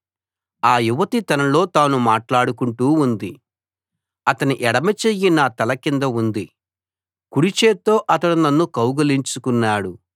ఆ యువతి తనలో తాను మాట్లాడుకుంటూ ఉంది అతని ఎడమ చెయ్యి నా తల కింద ఉంది కుడిచేత్తో అతడు నన్ను కౌగిలించుకున్నాడు